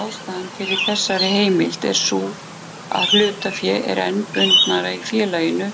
Ástæðan fyrir þessari heimild er sú að hlutafé er enn bundnara í félaginu